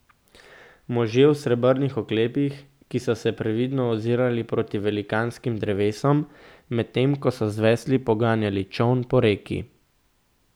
Možje v srebrnih oklepih, ki so se previdno ozirali proti velikanskim drevesom, medtem ko so z vesli poganjali čoln po reki.